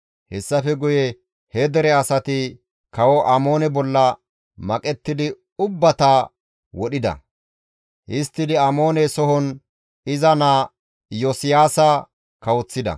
Hessafe guye he dere asati Kawo Amoone bolla maqettidi ubbata wodhida; histtidi Amoone sohon iza naa Iyosiyaasa kawoththida.